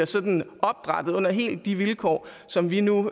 sådan under helt de vilkår som vi nu